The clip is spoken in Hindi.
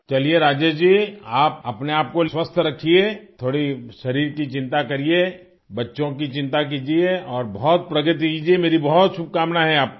चलिए राजेश जी आप अपने आप को स्वस्थ रखिए थोड़ी शरीर की चिंता करिये बच्चों की चिंता कीजिये और बहुत प्रगति कीजिये मेरी बहुत शुभकामनाएं है आपको